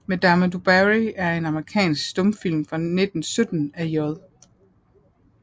Madame Du Barry er en amerikansk stumfilm fra 1917 af J